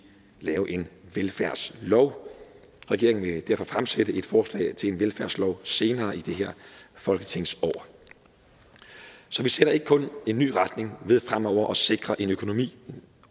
lave en velfærdslov regeringen vil derfor fremsætte et forslag til en velfærdslov senere i det her folketingsår så vi sætter ikke kun en ny retning ved fremover at sikre en økonomi